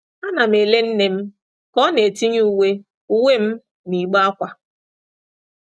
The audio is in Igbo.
Ana m ele nne m ka ọ na-etinye uwe uwe m n’igbe ákwà.